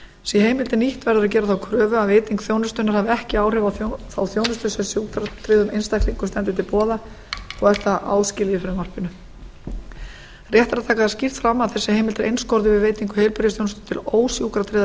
sé heimildin nýtt verður að gera þá kröfu að veiting þjónustunnar hafi ekki áhrif á þá þjónustu sem sjúkratryggðum einstaklingum stendur til boða og er það áskilið í frumvarpinu rétt er að taka það skýrt fram að þessi heimild er einskorðuð við veitingu heilbrigðisþjónustu til ósjúkratryggðra